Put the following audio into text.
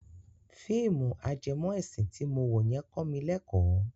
Fíìmù ajẹmọ ẹ̀sìn ti mo wo yẹn kọ mi lẹ́kọ̀ọ́.